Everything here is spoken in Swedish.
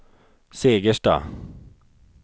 Segersta